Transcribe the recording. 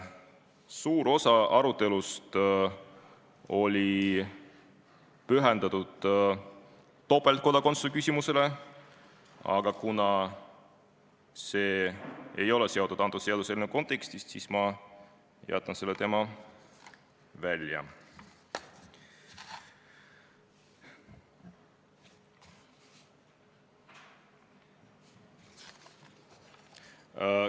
Suur osa arutelust oli pühendatud topeltkodakondsuse küsimusele, aga kuna see ei ole praegu arutatava seaduseelnõu kontekstiga seotud, siis ma jätan selle teema välja.